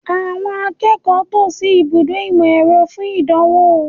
Àwọn akẹ́kọ̀ọ́ tò sí ibùdó ìmọ̀-ẹ̀rọ fún ìdánwò